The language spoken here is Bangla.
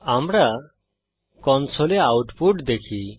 আমরা কনসোলে আউটপুট দেখি